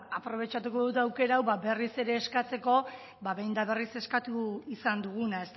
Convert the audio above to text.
aprobetxatuko dut aukera hau berriz ere eskatzeko behin eta berriz eskatu izan duguna